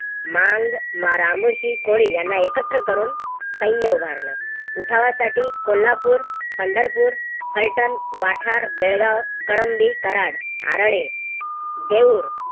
मांग रामोशी कोळी यांना एकत्र करून सैन्य उभारलं. उठावासाठी कोल्हापूर, पंढरपूर, फलटण, वाठार, बेळगाव, कळंबी, कराड, आळले, देऊर